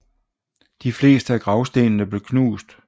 De fleste af gravstenene blev knust